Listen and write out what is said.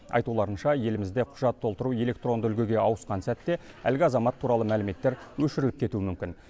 айтуларынша елімізде құжат толтыру электронды үлгіге ауысқан сәтте әлгі азамат туралы мәліметтер өшіріліп кетуі мүмкін